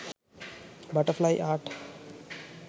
butterfly art